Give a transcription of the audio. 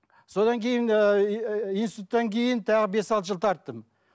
содан кейін ііі институттан кейін тағы бес алты жыл тарттым